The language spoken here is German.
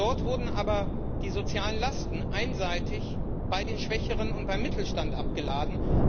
Dort wurden aber die sozialen Lasten einseitig bei den Schwächeren und beim Mittelstand abgeladen.